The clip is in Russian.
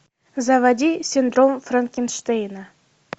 заводи синдром франкенштейна